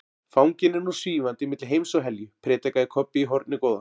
Fanginn er nú SVÍFANDI MILLI HEIMS OG HELJU, predikaði Kobbi í hornið góða.